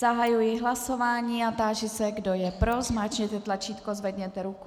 Zahajuji hlasování a táži se, kdo je pro, zmáčkněte tlačítko, zvedněte ruku.